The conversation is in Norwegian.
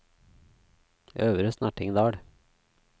Øvre Snertingdal